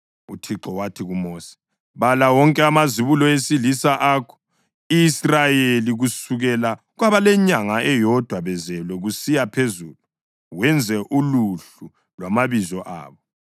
UThixo wathi kuMosi, “Bala wonke amazibulo esilisa ako-Israyeli kusukela kwabalenyanga eyodwa bezelwe kusiya phezulu wenze uluhlu lwamabizo abo.